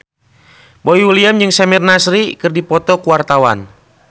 Boy William jeung Samir Nasri keur dipoto ku wartawan